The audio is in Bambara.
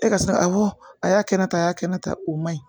E ka sina awɔ a y'a kɛ ta a y'a kɛ ne ta o man ɲi